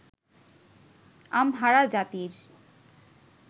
Amhara জাতির